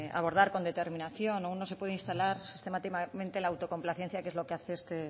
abordar con determinación o uno se puede instalar sistemáticamente en la autocomplacencia que es lo que hace este